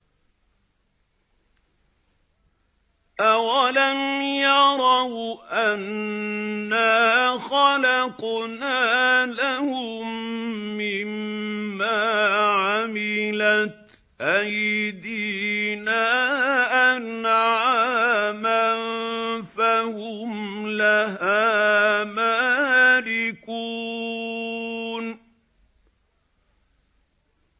أَوَلَمْ يَرَوْا أَنَّا خَلَقْنَا لَهُم مِّمَّا عَمِلَتْ أَيْدِينَا أَنْعَامًا فَهُمْ لَهَا مَالِكُونَ